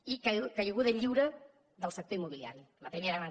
i caiguda lliure del sector immobiliari la primera gran